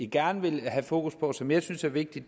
gerne vil have fokus på som jeg synes er vigtige